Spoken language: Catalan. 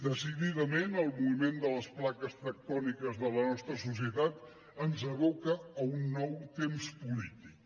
decididament el moviment de les plaques tectòniques de la nostra societat ens aboca a un nou temps polític